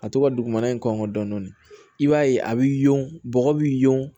A to ka dugumana in kɔngɔ dɔɔnin i b'a ye a bi yon bɔgɔ bi yon